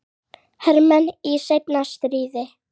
hermenn í seinna stríði.